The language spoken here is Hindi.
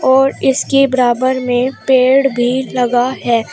और इसके बराबर में पेड़ भी लगा है।